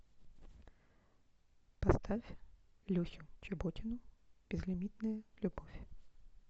поставь люсю чеботину безлимитная любовь